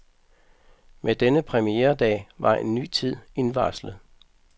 Med denne premieredag var en ny tid indvarslet.